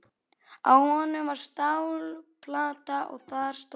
Á honum var stálplata og þar stóð: